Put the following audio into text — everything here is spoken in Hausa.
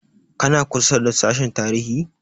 Kana kusa da sashen tarihi?